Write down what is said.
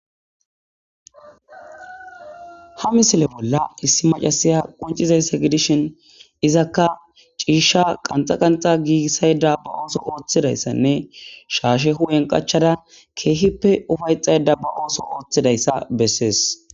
Ha misile bolla issi macasiya qoncizayssa gidishin izakka ciisha qanxa qanxa giigissayda ba ooso ooththidayssanne shaashe hu'en qachada keehippe ufayxayda ba ooso ooththidayssa bessees.